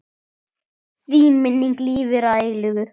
Þín minning lifir að eilífu.